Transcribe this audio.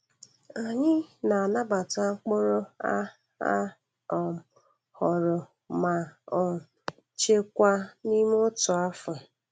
Anyị na-anabatamkpụrụ a a um ghọrọ ma um chekwa n'ime otu afọ.